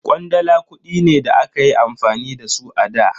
Kwandala kudi ne da akayi amfani da su a da.